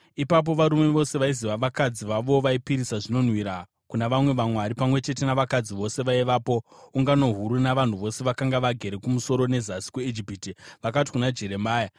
Ipapo varume vose vaiziva kuti vakadzi vavo vaipisira zvinonhuhwira kuna vamwe vamwari, pamwe chete navakadzi vose vaivapo, ungano huru, navanhu vose vakanga vagere Kumusoro neZasi kweIjipiti, vakati kuna Jeremia,